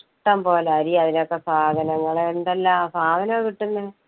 ഇഷ്ടം പോലെ അരി അതിനൊക്കെ സാധനങ്ങള് എന്തെല്ലാം സാധനവാ കിട്ടുന്നെ.